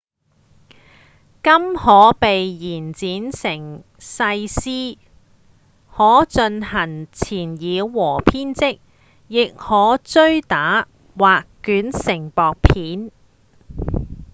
金可被延展成細絲再進行纏繞和編織亦可搥打或捲成薄片